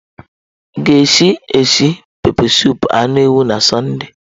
Ị ga-esi esi pepesụpụ anụ ewu na Sọnde?